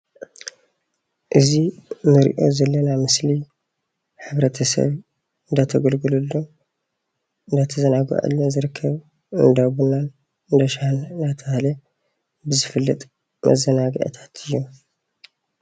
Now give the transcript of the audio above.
እዚ እንሪኦ ዘለና ምስሊ ሕብረተሰብ እናተገልገሉን እናተዘናገዐሉን ዝርከብ እንዳቡናን እንዳሻሂን እንዳተባሃለ ብዝፍለጥ መዘናግዕታት እዩ።